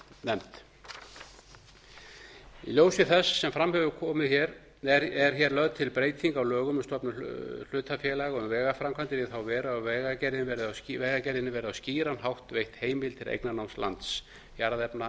nefnd í ljósi þess sem fram hefur komið er hér lögð til breyting á lögum um stofnun hlutafélaga um vegaframkvæmdir í þá veru að vegagerðinni verði á skýran hátt veitt heimild til eignarnáms lands jarðefna